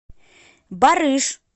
барыш